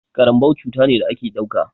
Ƙaranbau cuta ne da a ke ɗauka.